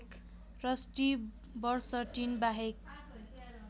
rusty बर्सटिनबाहेक